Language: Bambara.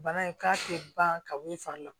Bana in k'a tɛ ban ka bɔ i fari la